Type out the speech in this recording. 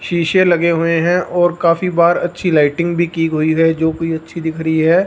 शीशे लगे हुए हैं और काफी बाहर अच्छी लाइटिंग भी की हुई हैं जो कि अच्छी दिख रही है।